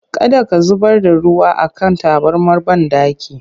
Kada ka zubar da ruwa a kan tabarmar banɗaki!